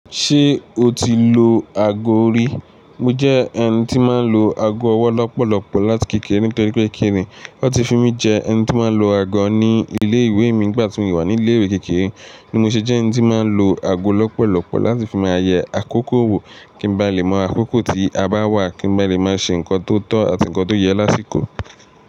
Ṣé o ti lo àgọ́ rí? Mo jẹ́ ẹni tí máa ń lo àgọ́ ọwọ́ lọ́pọ̀lọ́pọ̀ láti kékeré nitori pe kini? Wọ́n ti fi mí jẹ ẹni tí máa ń lu àgọ́ ní ilé ìwé mi nígbà tí mi wà ní ilé ìwé kékeré. Ni mo ṣe jẹ́ ẹni tí máa ń lo àgọ́ lọ́pọ̀lọ́pọ̀ láti fi máa yẹ àkókò wò kí n ba lè mọ àkókò tí a bá wà kí n ba lè máa ṣe nǹkan tó tọ́ àti nǹkan tó yẹ lásìkò.